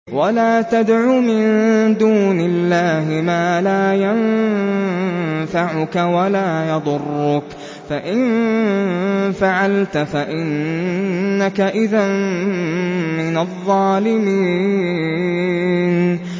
وَلَا تَدْعُ مِن دُونِ اللَّهِ مَا لَا يَنفَعُكَ وَلَا يَضُرُّكَ ۖ فَإِن فَعَلْتَ فَإِنَّكَ إِذًا مِّنَ الظَّالِمِينَ